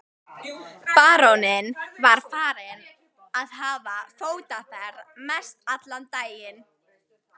Baróninn var farinn að hafa fótaferð mestallan daginn.